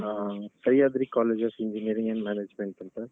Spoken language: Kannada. ಆ Sahyadri College of Engineering & Management ಅಂತ.